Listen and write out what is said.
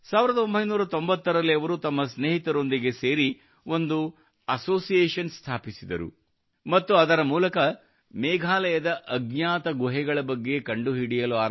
1990 ರಲ್ಲಿ ಅವರು ತಮ್ಮ ಸ್ನೇಹಿತರೊಂದಿಗೆ ಸೇರಿ ಒಂದು ಅಸೋಸಿಯೇಷನ್ ಸ್ಥಾಪಿಸಿದರು ಮತ್ತು ಅದರ ಮೂಲಕ ಮೇಘಾಲಯದ ಅಜ್ಞಾತ ಗುಹೆಗಳ ಬಗ್ಗೆ ಕಂಡುಹಿಡಿಯಲು ಆರಂಭಿಸಿದರು